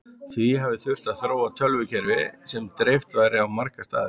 Því hafi þurft að þróa tölvukerfi sem dreift væri á marga staði.